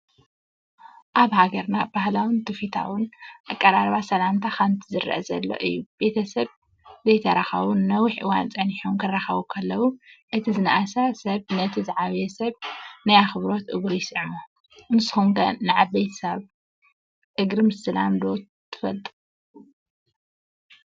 ኣብ ሃገርና ባህላውን ትውፊታውን ኣቀራርባ ሰላምታ ከምዚ ዝረአ ዘሎ እዩ፡፡ ቤተ-ሰብ ዘይተራኸቡ ንነዊሕ እዋን ፀኒሖም ክራኸቡ ከለው ፣ እቲ ዝናኣሰ ሰብ ነቲ ዝዓበየ ሰብ ናይ ኣኽብሮት እግሩ ይስዕሞ፡፡ ንስኹም ከ ንዓብይሰብ እግሪ ምስላም ዶ ትፈልጡ?